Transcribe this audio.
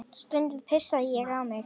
Stundum pissaði ég á mig.